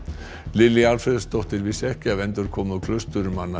Lilja Alfreðsdóttir vissi ekki af endurkomu